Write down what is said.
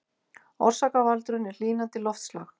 Orsakavaldurinn er hlýnandi loftslag